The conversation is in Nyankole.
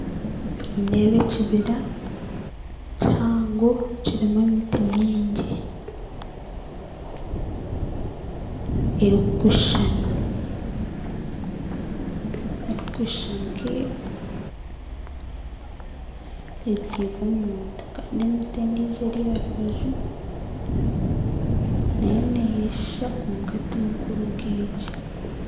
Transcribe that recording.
Nindeeba ekibira kihango kirimu emiti mingi erikushushana erikushusha nkebyirwe omuntu kandi endiijo eri aha rubaju nayo neeyeshusha kwonka timikuru nk'egi